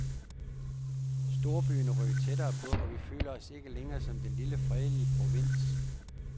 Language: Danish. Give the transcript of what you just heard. Storbyen er rykket tættere på, og vi føler os ikke længere som den lille fredelige provins.